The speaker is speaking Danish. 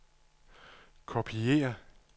kopiér